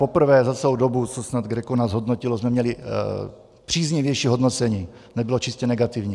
Poprvé za celou dobu, co nás GRECO snad hodnotilo, jsme měli příznivější hodnocení, nebylo čistě negativní.